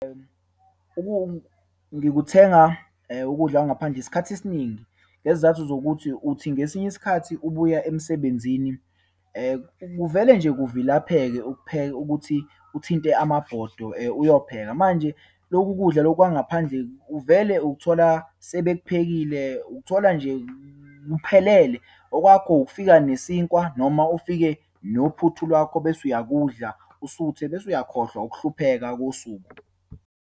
Ngikuthenga ukudla kwangaphandle isikhathi esiningi ngezizathu zokuthi, uthi ngesinye isikhathi ubuya emsebenzini kuvele nje kuvilapheke ukuthi uthinte amabhodo uyopheka. Manje, loku kudla loku kwangaphandle uvele ukuthola sebekuphekile, ukuthola nje kuphelele. Okwakho ukufika nesinkwa noma ufike nophuthu lwakho bese uyakudla, usuthe. Bese uyakhohlwa ukuhlupheka kosuku.